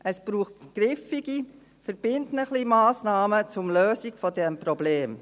Es braucht griffige, verbindliche Massnahmen zur Lösung dieses Problems.